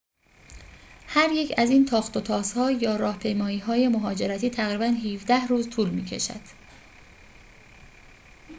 هریک از این تاخت‌وتازها یا راهپیمایی‌های مهاجرتی تقریباً ۱۷ روز طول می‌کشد